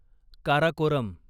Karakoram